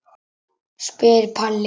spyr Palli.